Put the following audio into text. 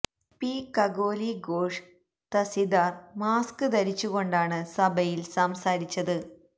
P Kakoli Ghosh Dastidar mask ധരിച്ചു കൊണ്ടാണ് സഭയിൽ സംസാരിച്ചത്